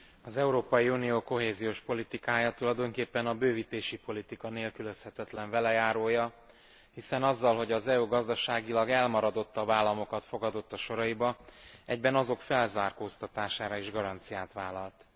Az Európai Unió kohéziós politikája tulajdonképpen a bővítési politika nélkülözhetetlen velejárója, hiszen azzal, hogy az EU gazdaságilag elmaradottabb államokat fogadott a soraiba, egyben azok felzárkóztatására is garanciát vállalt.